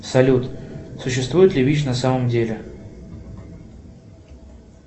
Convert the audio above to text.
салют существует ли вич на самом деле